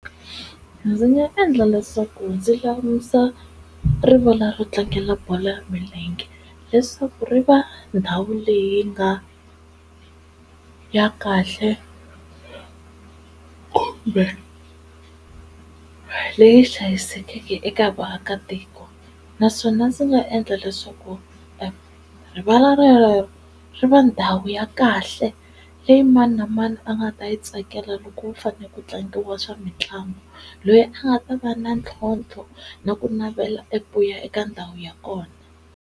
Ndzi nga endla leswaku ndzi lulamisa rivala ro tlangela bolo ya milenge leswaku ri va ndhawu leyi nga ya kahle kumbe leyi hlayisekeke eka vaakatiko naswona ndzi nga endla leswaku rivala re rero ri va ndhawu ya kahle leyi mani na mani a nga ta yi tsakela loko ku fane ku tlangiwa swa mitlangu, loyi a nga ta va na ntlhontlho na ku navela eku ya eka ndhawu ya kona.